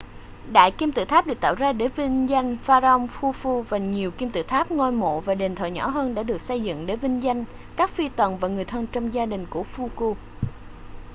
đại kim tự tháp được tạo ra để vinh danh pharaoh khufu và nhiều kim tự tháp ngôi mộ và đền thờ nhỏ hơn đã được xây dựng để vinh danh các phi tần và người thân trong gia đình của khufu